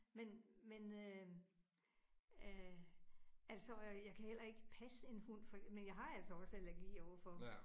Men men øh øh altså og jeg kan heller ikke passe en hund for, men jeg har altså også allergi over for dem